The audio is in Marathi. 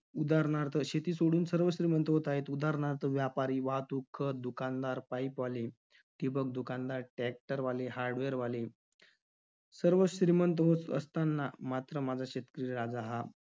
उदाहरणार्थ, शेती सोडून सर्व श्रीमंत होत आहेत. उदाहरणार्थ, व्यापारी, वाहतूक, खत, दुकानदार, pipe वाले, ठिबक दुकानदार, tractor वाले, hardware वाले. सर्व श्रीमंत होत असताना मात्र माझा शेतकरी राजा हा